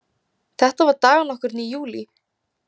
Þetta var dag nokkurn í júlí.